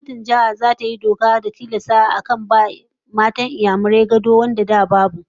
Gwamnatin Jihar zata yi doka don tilasta a rika bai wa matan Inyamurai gado wanda a da babu